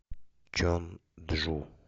чонджу